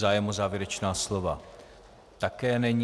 Zájem o závěrečná slova - také není.